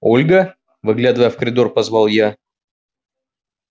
ольга выглядывая в коридор позвал я